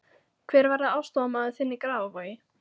Hver verður aðstoðarmaður þinn í Grafarvogi?